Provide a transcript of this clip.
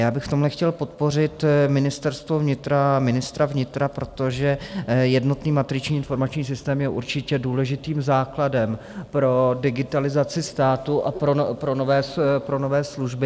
Já bych v tomhle chtěl podpořit Ministerstvo vnitra a ministra vnitra, protože jednotný matriční informační systém je určitě důležitým základem pro digitalizaci státu a pro nové služby.